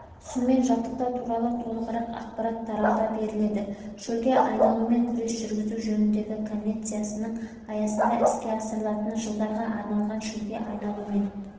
сумен жабдықтау туралы толығырақ ақпарат тарауда беріледі шөлге айналумен күрес жүргізу жөніндегі конвенциясының аясында іске асырылатын жылдарға арналған шөлге айналумен